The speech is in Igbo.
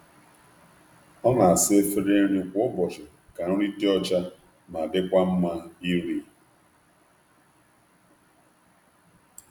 Ọ na-asacha efere nri anụ ụlọ ya kwa ụbọchị iji hụ na ebe um nri um dị ọcha.